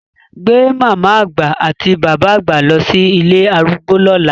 Gbé màmá àgbà àti bàbá àgbà lọ sí ilé arúgbó lọ́la!